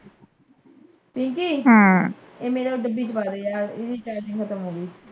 ਪਿੰਕੀ ਹਮ ਇਹ ਮੇਰਾ ਡੱਬੀ ਚ ਪਾ ਦੇ ਯਾਰ ਇਹਦੀ ਚਾਰਜਿੰਗ ਖ਼ਤਮ ਹੋਗੀ।